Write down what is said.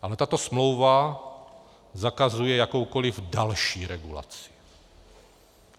Ale tato smlouva zakazuje jakoukoliv další regulaci.